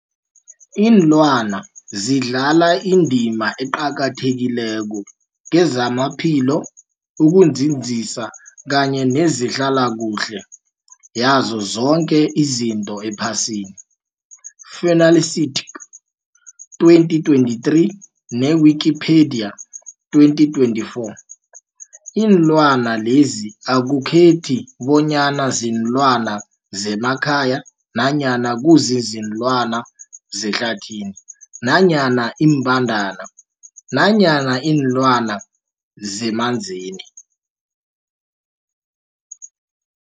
Ilwana zidlala indima eqakathekileko kezamaphilo, ukunzinza kanye nezehlala kuhle yazo zoke izinto ephasini, Fuanalytics 2023, ne-Wikipedia 2024. Iinlwana lezi akukhethi bonyana ziinlwana zemakhaya nanyana kuziinlwana zehlathini nanyana iimbandana nanyana iinlwana zemanzini.